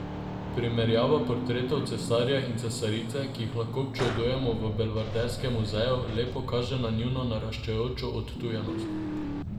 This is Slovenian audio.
Primerjava portretov cesarja in cesarice, ki jih lahko občudujemo v belvederskem muzeju, lepo kaže na njuno naraščajočo odtujenost.